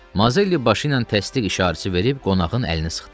Mazelli başı ilə təsdiq işarəsi verib qonağın əlini sıxdı.